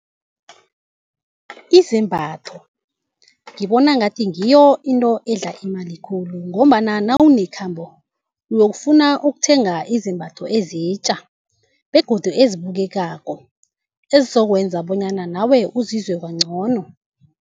Izembatho ngibona ngathi ngiyo into edla imali khulu ngombana nawunekhambo uyokufuna ukuthenga izembatho ezitja begodu ezibukekako ezizokwenza bonyana nawe uzizwe kancono.